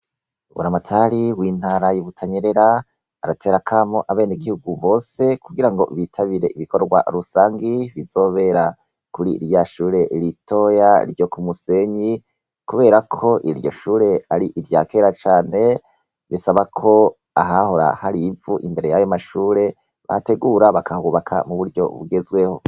Buramatari w' intara yi Butanyerera, aratera akamo abenegihugu bose kugirango bitabire ibikorwa rusangi, bizohera kuri rya Shure ritoya ryo ku musenyi , kubera ko iryo shure ari irya kera cane, bisaba ko ahahora harivu imbere yayo mashure bahategura bakahubaka mu buryo bugezweho.